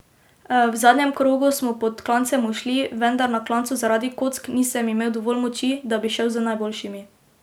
V zadnjem krogu smo pod klancem ušli, vendar na klancu zaradi kock nisem imel dovolj moči, da bi šel z najboljšimi.